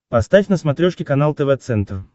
поставь на смотрешке канал тв центр